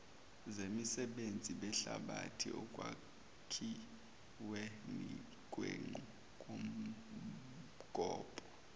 zemisebenzi zehlabathi ekwakhiwenikwenqubomgombo